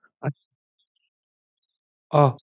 অহ আচ্ছা